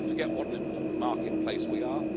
Don't forget what an important marketplace we are.